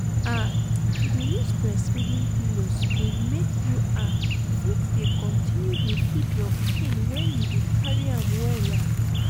ah to use breastfeeding pillows go make you ah fit dey continue dey feed your pikin when you dey carry am well ah